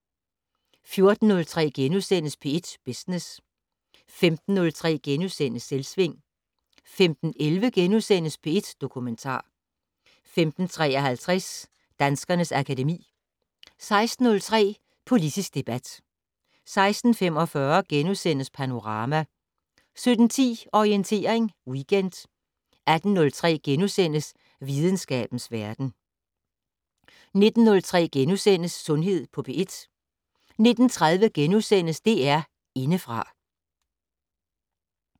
14:03: P1 Business * 15:03: Selvsving * 15:11: P1 Dokumentar * 15:53: Danskernes akademi 16:03: Politisk debat 16:45: Panorama * 17:10: Orientering Weekend 18:03: Videnskabens verden * 19:03: Sundhed på P1 * 19:30: DR Indefra *